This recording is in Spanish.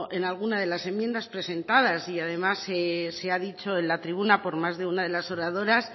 en alguna de las enmiendas presentadas y además se ha dicho en la tribuna por más de una de las oradoras